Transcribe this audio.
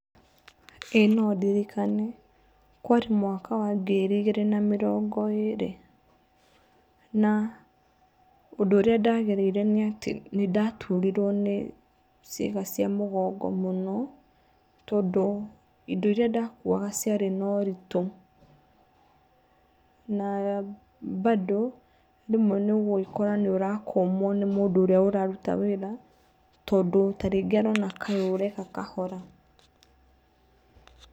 Ĩĩ nondirikane. Kwarĩ mwaka wa ngiri igĩrĩ na mĩrongo ĩrĩ na ũndũ ũrĩa ndagereire nĩ atĩ nĩndaturirwo nĩ ciĩga cia mũgongo mũno tondũ indo iria ndakuaga ciarĩ na ũritũ na bado rĩmwe nĩ ũgũgĩkora nĩ ũrakũmwo nĩ mũndũ ũrĩa ũraruta wĩra tondũ ta rĩngĩ arona kaĩ ũreka kahora.